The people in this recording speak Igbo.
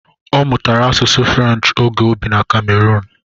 Ọ mụtara asusu Frenchi ógè o bị na Ka-meroon.